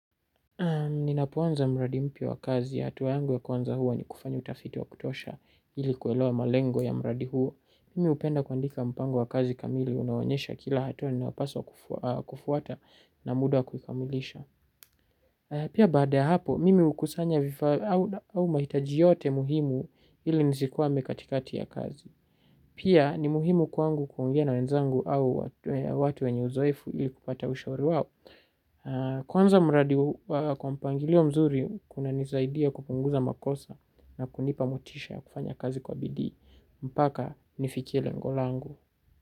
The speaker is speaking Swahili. Ninapoanza mradi mpia wa kazi, hatua yangu ya kwanza huwa ni kufanya utafiti wa kutosha ili kuelewa malengo ya mradi huo. Mimi upenda kuandika mpango wa kazi kamili, unaonyesha kila hatuwa inapaswa kufuata na muda wa kuikamilisha. Pia baada ya hapo, mimi ukosanga vifaa au mahitaji yote muhimu ili nisikwame katikati ya kazi. Pia ni muhimu kwangu kuongea na wenzangu au watu wenye uzoefu ili kupata ushauri wao. Kwanza muradi kwa mpangilio mzuri kunanisaidia kupunguza makosa na kunipa motisha kufanya kazi kwa bidii mpaka nifikie rengo langu.